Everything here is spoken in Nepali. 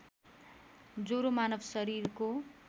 ज्वरो मानव शरीरको